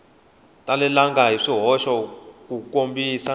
talelangi hi swihoxo ku kombisa